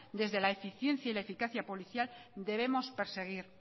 desde la eficiencia y la eficacia policial debemos perseguir